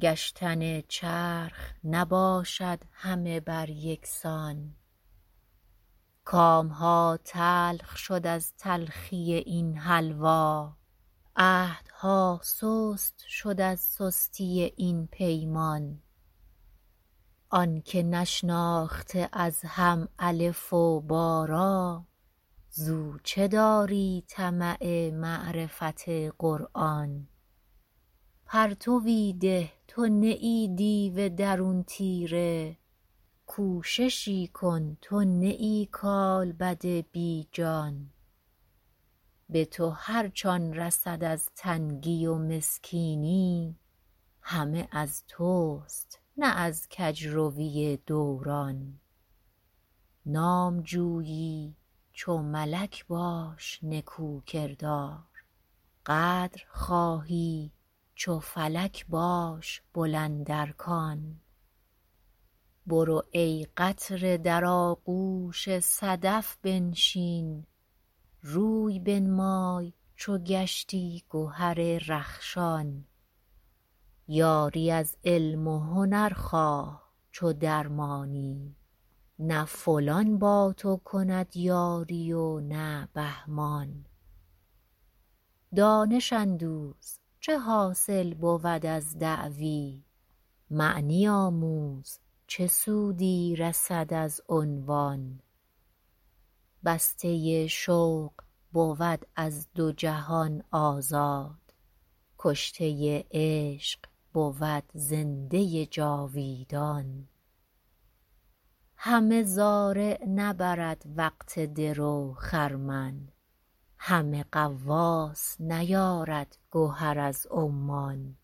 گشتن چرخ نباشد همه بر یکسان کامها تلخ شد از تلخی این حلوا عهدها سست شد از سستی این پیمان آنکه نشناخته از هم الف و با را زو چه داری طمع معرفت قرآن پرتوی ده تو نه ای دیو درون تیره کوششی کن تو نه ای کالبد بی جان به تو هرچ آن رسد از تنگی و مسکینی همه از تست نه از کجروی دوران نام جویی چو ملک باش نکو کردار قدر خواهی چو فلک باش بلند ارکان برو ای قطره در آغوش صدف بنشین روی بنمای چو گشتی گهر رخشان یاری از علم و هنر خواه چو درمانی نه فلان با تو کند یاری و نه بهمان دانش اندوز چه حاصل بود از دعوی معنی آموز چه سودی رسد از عنوان بسته شوق بود از دو جهان آزاد کشته عشق بود زنده جاویدان همه زارع نبرد وقت درو خرمن همه غواص نیارد گهر از عمان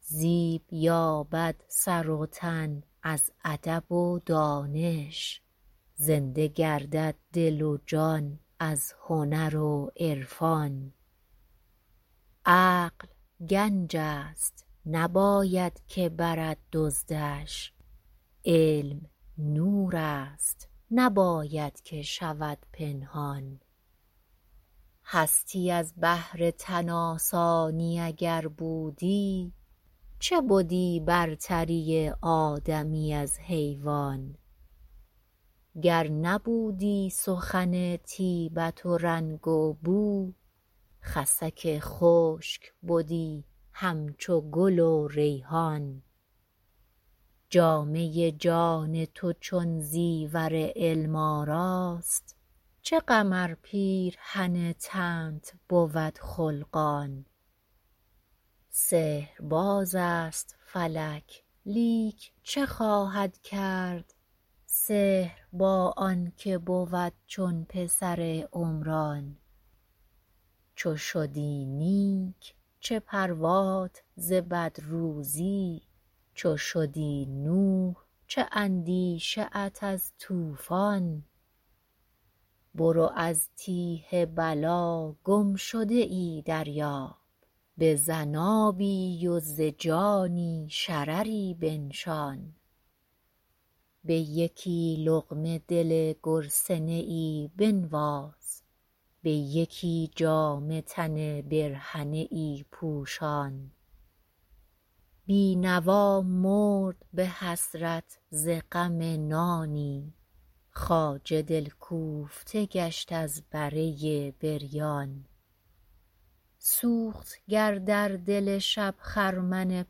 زیب یابد سر و تن از ادب و دانش زنده گردد دل و جان از هنر و عرفان عقل گنجست نباید که برد دزدش علم نورست نباید که شود پنهان هستی از بهر تن آسانی اگر بودی چه بدی برتری آدمی از حیوان گر نبودی سخن طیبت و رنگ و بو خسک و خشک بدی همچو گل و ریحان جامه جان تو چون زیور علم آراست چه غم ار پیرهن تنت بود خلقان سحر باز است فلک لیک چه خواهد کرد سحر با آنکه بود چون پسر عمران چو شدی نیک چه پروات ز بد روزی چو شدی نوح چه اندیشه ات از طوفان برو از تیه بلا گمشده ای دریاب بزن آبی و ز جانی شرری بنشان به یکی لقمه دل گرسنه ای بنواز به یکی جامه تن برهنه ای پوشان بینوا مرد بحسرت ز غم نانی خواجه دلکوفته گشت از بره بریان سوخت گر در دل شب خرمن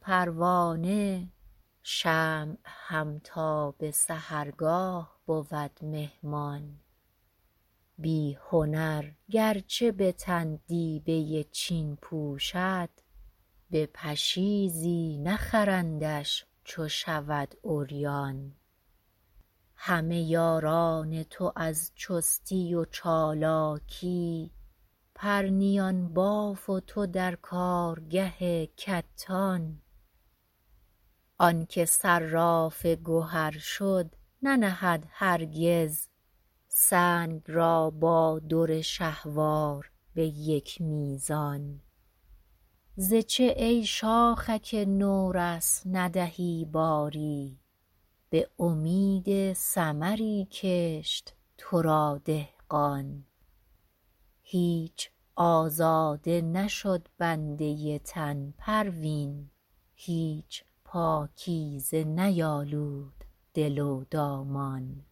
پروانه شمع هم تا بسحرگاه بود مهمان بی هنر گرچه بتن دیبه چین پوشد به پشیزی نخرندش چو شود عریان همه یاران تو از چستی و چالاکی پرنیان باف و تو در کارگه کتان آنکه صراف گهر شد ننهد هرگز سنگ را با در شهوار بیک میزان ز چه ای شاخک نورس ندهی باری بامید ثمری کشت ترا دهقان هیچ آزاده نشد بنده تن پروین هیچ پاکیزه نیالود دل و دامان